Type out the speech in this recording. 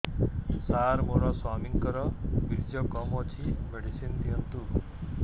ସାର ମୋର ସ୍ୱାମୀଙ୍କର ବୀର୍ଯ୍ୟ କମ ଅଛି ମେଡିସିନ ଦିଅନ୍ତୁ